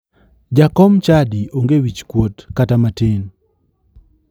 Jakom chadi onge wich kuot kata matin